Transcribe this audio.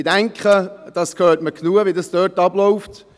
Ich denke, man hört genügend, wie es dort abläuft.